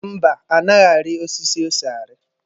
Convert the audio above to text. Mba, anaghị ari osisi ose ari.